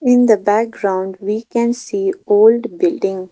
in the background we can see old building.